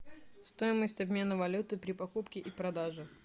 стоимость обмена валюты при покупке и продаже